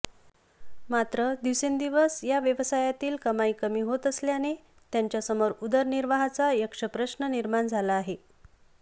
मात्र दिवसेंदिवस या व्यवसायातीलही कमाई कमी होत असल्याने त्यांच्यासमोर उदरनिर्वाहाचा यक्षप्रश्न निर्माण झाला आहे